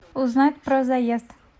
узнать про заезд